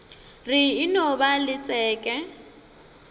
re e no ba letšeke